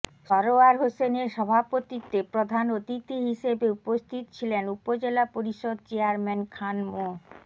সরোয়ার হোসেনের সভাপতিত্বে প্রধান অতিথি হিসেবে উপস্থিত ছিলেন উপজেলা পরিষদ চেয়ারম্যান খান মো